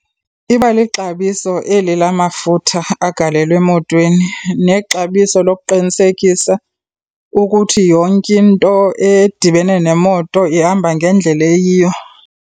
Iba lixabiso eli la mafutha agalelwa emotweni nexabiso lokuqinisekisa ukuthi yonke into edibene nemoto ihamba ngendlela eyiyo.